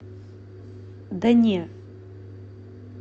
да не